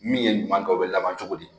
Min ye ɲuman kɛ , o be laban cogo di?